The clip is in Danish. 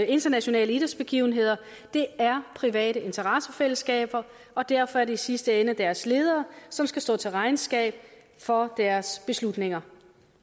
internationale idrætsbegivenheder er private interessefællesskaber og derfor er det i sidste ende deres ledere som skal stå til regnskab for deres beslutninger